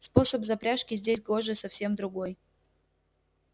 способ запряжки здесь гоже совсем другой